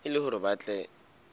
e le hore ba tle